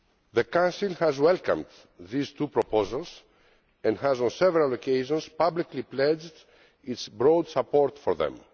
The Council has welcomed these two proposals and has, on several occasions, publicly pledged its broad support for them.